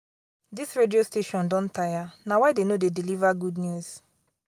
dis radio station don tire na why dey no dey deliver good news